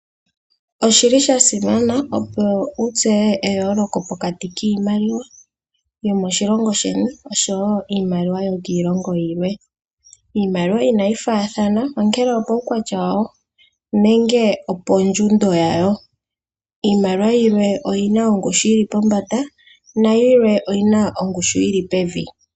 Oshili sha simana opo wutseye eyooloko pokati kiimaliwa yomoshilongo sheni oshowoo iimaliwa yokiilongo yimwe. Iimaliwa inayi faathana ongele opuukwatya wayo nenge opo ndjundo yawo. Iimaliwa yimwe oyina ongushu yili pombanda nayimwe oyina ongushu yili pevi.